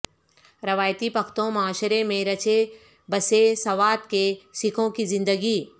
روایتی پختون معاشرے میں رچے بسے سوات کے سکھوں کی زندگی